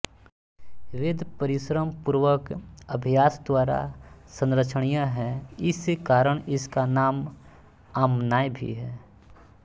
वेद परिश्रमपूर्वक अभ्यास द्वारा संरक्षणीय है इस कारण इसका नाम आम्नाय भी है